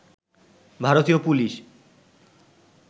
ভারতীয় পুলিশ